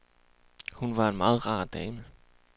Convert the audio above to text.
Hun var en meget rar dame.